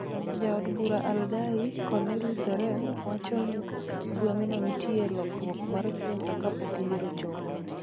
Jaod bura Aldai, Cornelly Serem, wacho ni gweng'no nitie e lokruok mar siasa kapok yiero ochopo.